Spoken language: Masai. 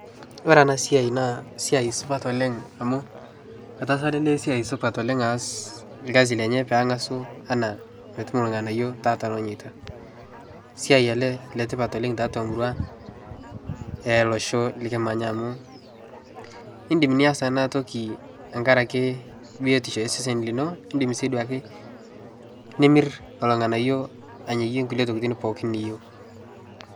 Ore enasiai naa siai supat oleng' amu etaasa tene siai supat oleng' aas ilkasi lenye peeng'asu anaa petum ilng'anayio tatua lonyeita. Siai ele letipat oleng' tiatua murua e losho likimanya amu indim nias enatoki engarake biotisho e sesen lino, indim sii duake nimirr olng'anayio anyayie nkulie tokitin pooki niyou.